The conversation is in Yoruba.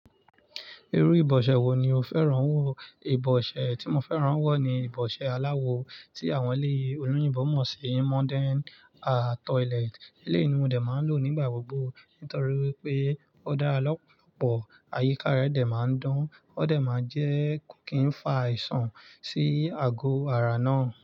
Irú ìbọ̀ṣẹ́ wo ni o fẹ́ràn wọ̀? Ìbọ̀ṣẹ́ tí mo fẹ́ràn wọ̀ ni ìbọ̀ṣẹ́ aláwo tí àwọn ilé olóyìnbo mọ̀ sí modern ah toilet. Eléyìí ní mòdẹ̀ máa n lò nígbà gbogbo torí wípé ó dára lọ́pọ̀lọpọ̀, àyíká rẹ̀ dẹ máa n dan, ó dẹ máa n jẹ kò kí n fa àìsàn sí àgọ̀ ara náà.